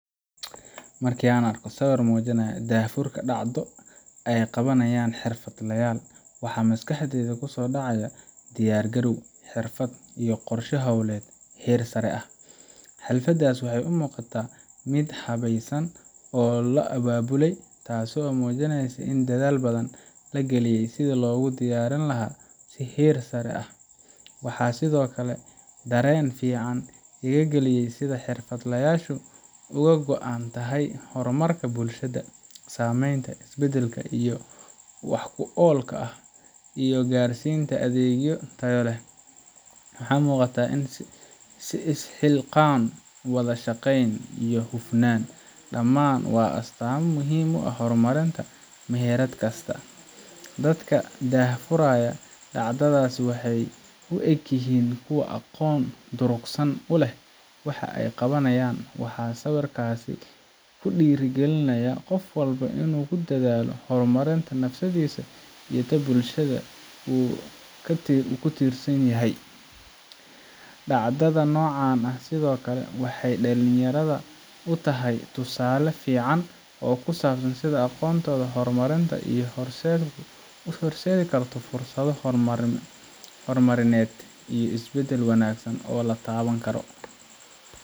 Marka aan arko sawir muujinaya daahfurka dhacdo ay qabanayaan xirfadlayaal, waxa maskaxdayda ku soo dhacaya diyaar garow, xirfad, iyo qorshe hawleed heer sare ah. Xafladdaas waxay u muuqataa mid si habaysan loo abaabulay, taasoo muujinaysa in dadaal badan la geliyay sidii loogu diyaarin lahaa si heer sare ah. Waxaa sidoo kale dareen fiican iga galiya sida xirfadlayaashu uga go’an tahay horumarka bulshada, samaynta isbeddel wax ku ool ah, iyo gaarsiinta adeegyo tayo leh. Waxaa muuqata is xilqaan, wada shaqayn, iyo hufnaan dhammaan waa astaamo muhim u ah horumarinta meherad kasta. Dadka daahfuraya dhacdadaas waxay u egyihiin kuwo aqoon durugsan u leh waxa ay qabanayaan, waxaana sawirkaasi ku dhiirrigelinayaa qof walba inuu ku dadaalo horumarinta naftiisa iyo bulshada uu ka tirsan yahay. Dhacdada noocan ah sidoo kale waxay dhalinyarada u tahay tusaale fiican oo ku saabsan sida aqoonta iyo hogaamintu u horseedi karto fursado horumarineed iyo isbedel wanaagsan oo la taaban karo.